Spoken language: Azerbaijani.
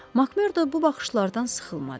Makmerdo bu baxışlardan sıxılmadı.